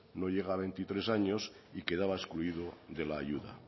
no llega a veintitrés años y quedaba excluido de la ayuda